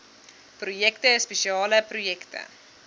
projekte spesiale projekte